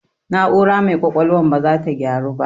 Na'aura mai ƙwaƙwalwan baza ta gyaru ba